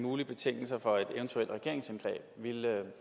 mulige betingelser for et eventuelt regeringsindgreb ville